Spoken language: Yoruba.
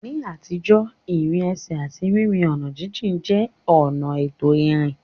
Ní àtijọ́, ìrìn ẹsẹ̀ àti rírin ọ̀nà jíjìn jẹ́ ọ̀nà ètò ìrìn.